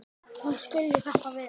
Hún skilji þetta vel.